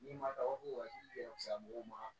N'i ma dabɔ ka sago ma